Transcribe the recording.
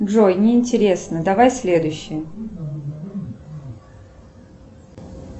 джой не интересно давай следующее